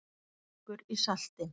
Eitthvað liggur í salti